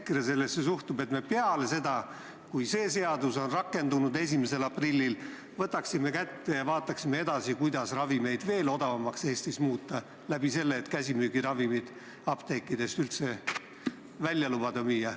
Kuidas EKRE suhtub sellesse, et me peale seda, kui see seadus on 1. aprillil rakendunud, võtame kätte ja vaatame edasi, kuidas ravimeid Eestis odavamaks muuta sellega, et lubada käsimüügiravimeid mujalgi müüa?